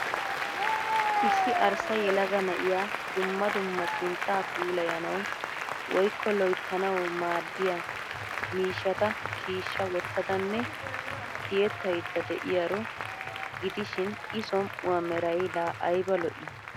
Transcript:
Issi arssa yelaga na'iya dumma dumma sinttaa puulayanawu woykko loyttanawu maadiya miishshata shiishsha wotadanne tiyetaydda de'iyaro gidishshiin I som'uwa meray laa ayba lo'ii!.